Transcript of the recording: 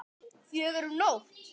Fjögur um nótt?